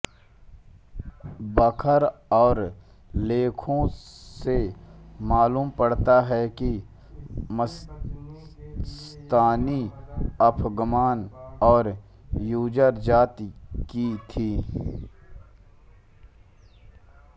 बखर और लेखों से मालूम पड़ता है कि मस्तानी अफ़गान और गूजर जाति की थी